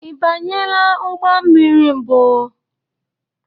I banyela ụgbọ mmiri mbụ?